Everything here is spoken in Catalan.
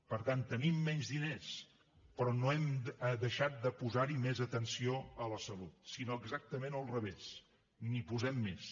per tant tenim menys diners però no hem deixat de posar hi més atenció a la salut sinó exactament al revés n’hi posem més